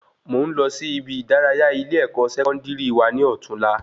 Mò n lọ sí ibi ìdárayá ile-ẹkọ Sẹkọndiri wa ni ọtún la